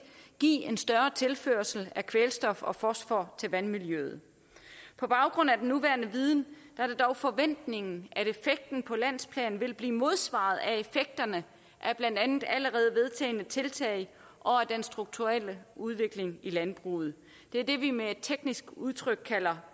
give en større tilførsel af kvælstof og fosfor til vandmiljøet på baggrund af den nuværende viden er det dog forventningen at effekten på landsplan vil blive modsvaret af effekterne af blandt andet allerede vedtagne tiltag og af den strukturelle udvikling i landbruget det er det vi med et teknisk udtryk kalder